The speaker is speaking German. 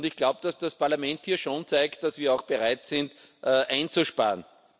Ich glaube, dass das Parlament hier schon zeigt, dass wir auch bereit sind einzusparen.